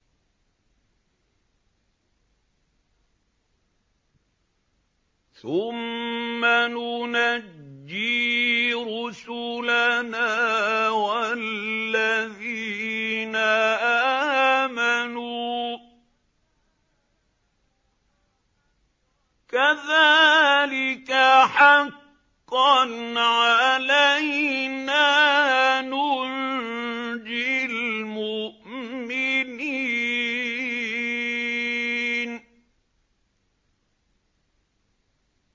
ثُمَّ نُنَجِّي رُسُلَنَا وَالَّذِينَ آمَنُوا ۚ كَذَٰلِكَ حَقًّا عَلَيْنَا نُنجِ الْمُؤْمِنِينَ